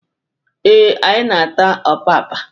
Ee, anyị na-ata ọpapa.